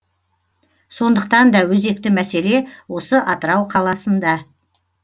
сондықтан да өзекті мәселе осы атырау қаласында